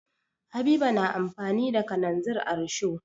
Habiba na amfani da kananzir a risho.